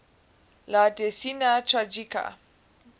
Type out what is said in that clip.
la decena tragica